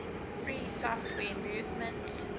free software movement